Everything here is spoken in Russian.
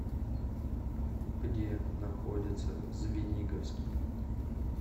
где находится звениговский